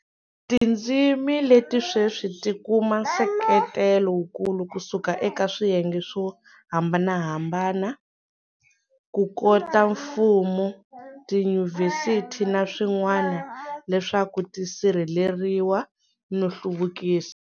Tindzimi leti sweswi ti kuma nseketelo wukulu ku suka eka swiyenge swo hambanahamba ku kota mfumo, tiyunivhesiti na swin'wana leswaku ti sirheleriwa no hluvukisiwa.